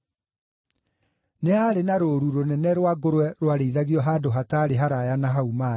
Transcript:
Nĩ haarĩ na rũũru rũnene rwa ngũrwe rwarĩithagio handũ hataarĩ haraaya na hau maarĩ.